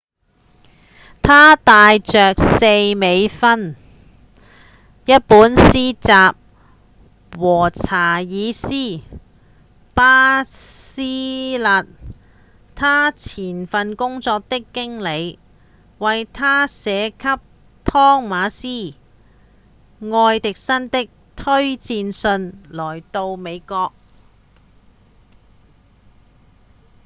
他帶著4美分、一本詩集和查爾斯·巴徹勒他前份工作的經理為他寫給湯瑪斯·愛迪生的推薦信來到美國